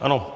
Ano.